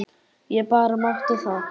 Ég bara mátti það!